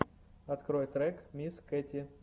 открой трек мисс кэти